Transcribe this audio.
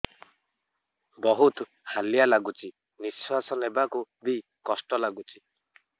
ବହୁତ୍ ହାଲିଆ ଲାଗୁଚି ନିଃଶ୍ବାସ ନେବାକୁ ଵି କଷ୍ଟ ଲାଗୁଚି